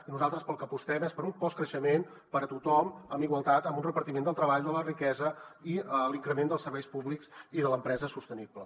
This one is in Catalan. i nosaltres pel que apostem és per un postcreixement per a tothom amb igualtat amb un repartiment del treball de la riquesa i l’increment dels serveis públics i de l’empresa sostenible